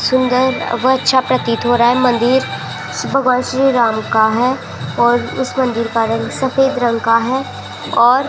सुंदर व अच्छा प्रतीत हो रहा मन्दिर भगवान श्री राम का है और इस मंदिर का रंग सफेद रंग का है और --